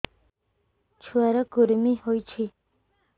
ଛୁଆ ର କୁରୁମି ହୋଇଛି